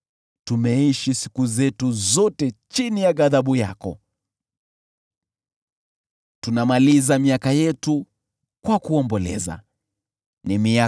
Tumeishi siku zetu zote chini ya ghadhabu yako, tunamaliza miaka yetu kwa kuomboleza.